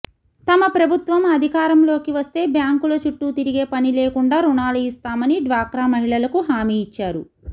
తమ ప్రభుత్వం అధికారంలోకి వస్తే బ్యాంకుల చుట్టూ తిరిగే పనిలేకుండా రుణాలు ఇస్తామని డ్వాక్రా మహిళలకు హామీ ఇచ్చారు